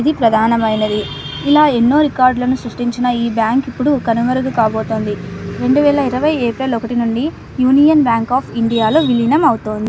ఇది ప్రధానమైనది ఇలా ఎన్నో రికార్డ్ ను సృష్టించిన ఈ బ్యాంకు ఇప్పుడు కనుమరుగు కాబోతుంది రెండు వేల ఇరువై ఏప్రిల్ ఒకటి నుండి యూనియన్ బ్యాంకు లో అఫ్ ఇండియా లో విలీనం అవుతుంది.